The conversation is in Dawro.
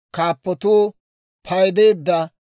Hewanttu ubbaanna 603,550.